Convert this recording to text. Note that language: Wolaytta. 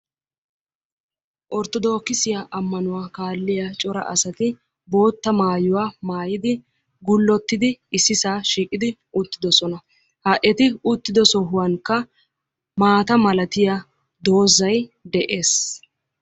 Orttodokkissiya amannuwa kaaliya cora asatto bootta maayuwa maayiddi coratti uttidosonna. Ha etti uttiddo sohuwan mittay de'ees.